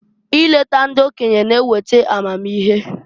I leta ndị okenye g'eweta amamihe.